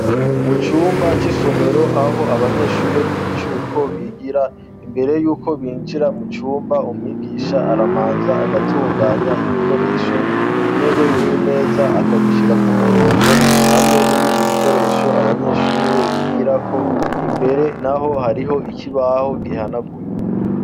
Mu yumba y'isomero aho abanyeshuri b'imicuko bigira imbere y'uko binjira mu cumba umwigisha arabanza agatunganya ibikoresho intebe n'imeza akabishira ku murongo hamwe n'ibindi bikoresho abanyeshuri bigira ko, imbere naho hariho ikibaho gihanaguye.